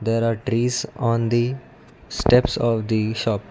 there are trees on the steps of the shop.